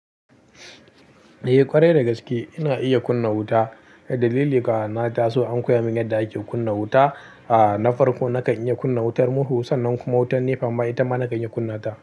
Eh ƙwarai da gaske ina iya kunna wuta. Dalili ka taso an koya min yadda ake kunna wuta. A'a na farko na kan iya kunna wutar murhu sannan kuma wutar NEPA amma ita ma na kan iya kunna ta.